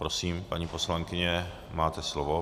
Prosím, paní poslankyně, máte slovo.